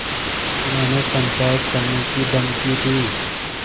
उन्होंने पंचायत करने की धमकी दी